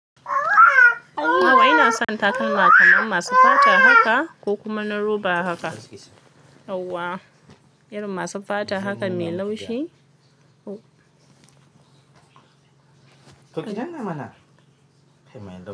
Yauwa inason takalma kamar masu fata haka, ko kuma na roba haka. Yauwa, irin masu fata haka mai laushi. To ki danda mana.